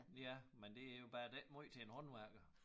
Ja men det jo bare det ikke måj til en håndværker